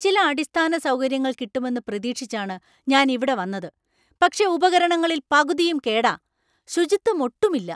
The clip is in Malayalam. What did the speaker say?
ചില അടിസ്ഥാന സൗകര്യങ്ങൾ കിട്ടുമെന്ന് പ്രതീക്ഷിച്ചാണ് ഞാൻ ഇവിടെ വന്നത്, പക്ഷേ ഉപകരണങ്ങളിൽ പകുതിയും കേടാ, ശുചിത്വം ഒട്ടുമില്ല.